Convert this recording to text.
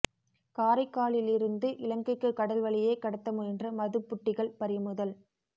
காரைக்காலிலிருந்து இலங்கைக்கு கடல் வழியே கடத்த முயன்ற மதுப் புட்டிகள் பறிமுதல்